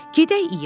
Gedək i-ya!